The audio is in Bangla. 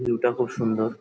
ভিউ -টা খুব সুন্দর।